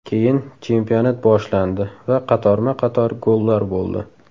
Keyin chempionat boshlandi va qatorma-qator gollar bo‘ldi.